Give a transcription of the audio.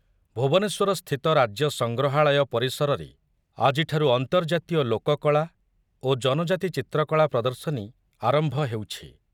ଭୁବନେଶ୍ୱରସ୍ଥିତ ରାଜ୍ୟ ସଂଗ୍ରହାଳୟ ପରିସରରେ ଆଜିଠାରୁ ଅନ୍ତର୍ଜାତୀୟ ଲୋକକଳା ଓ ଜନଜାତି ଚିତ୍ରକଳା ପ୍ରଦର୍ଶନୀ ଆରମ୍ଭ ହେଉଛି।